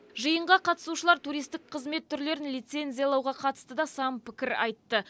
жиынға қатысушылар туристік қызмет түрлерін лицензиялауға қатысты да сан пікір айтты